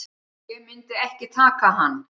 Ég myndi ekki taka hann.